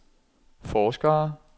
forskere